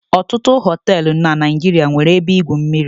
Ọtụtụ hoteelu na Naijiria nwere ebe igwu mmiri